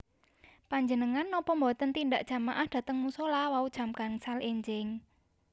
Panjenengan nopo mboten tindak jamaah dateng musola wau jam gangsal enjing?